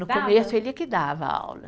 No começo, ele que dava aula.